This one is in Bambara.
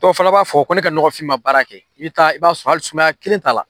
Dɔ fana b'a fɔ ko ne ka nɔgɔfini ma baara kɛ, i bɛ taa, i b'a sɔrɔ hali sumaya kelen t'a la.